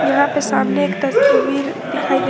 यहां पर सामने एक तस्वीर दिखाई दे--